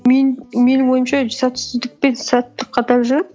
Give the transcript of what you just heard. менің ойымша сәтсіздік пен сәттілік қатар жүреді